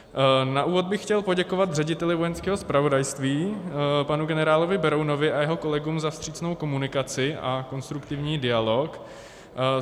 Na úvod bych chtěl poděkovat řediteli Vojenského zpravodajství panu generálovi Berounovi a jeho kolegům za vstřícnou komunikaci a konstruktivní dialog.